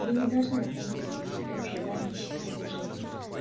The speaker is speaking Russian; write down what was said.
вы не должны останавливать себя в желании счастливой жизни